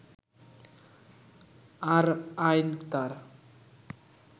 আর আইন তার